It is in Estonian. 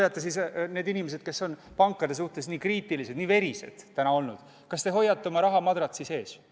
Kas teie – need teist, kes on pankade suhtes täna nii kriitilised, nii verised olnud – hoiate oma raha madratsi sees?